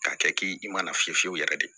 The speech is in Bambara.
K'a kɛ k'i i mana fiyɛ fiyewu yɛrɛ de